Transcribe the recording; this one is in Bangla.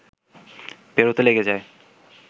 পেরোতে লেগে যায়